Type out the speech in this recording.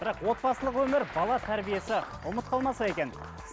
бірақ отбасылық өмір бала тәрбиесі ұмыт қалмаса екен